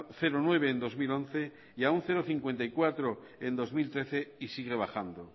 nueve en dos mil once y a cero coma cincuenta y cuatro en bi mila hamairu y sigue bajando